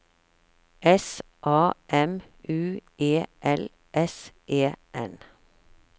S A M U E L S E N